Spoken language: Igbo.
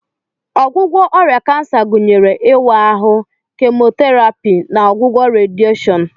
Ọgwụgwọ ọrịa kansa gụnyere ịwa ahụ, chemotherapy, na ọgwụgwọ radieshon.